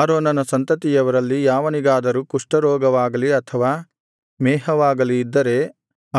ಆರೋನನ ಸಂತತಿಯವರಲ್ಲಿ ಯಾವನಿಗಾದರೂ ಕುಷ್ಠರೋಗವಾಗಲಿ ಅಥವಾ ಮೇಹವಾಗಲಿ ಇದ್ದರೆ